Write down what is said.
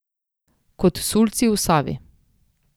Kot sulci v Savi.